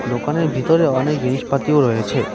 দোকানের ভিতরে অনেক জিনিসপাতিও রয়েছে।